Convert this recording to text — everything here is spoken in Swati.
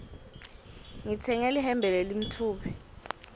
ngitsenge lihembe lelimtfubi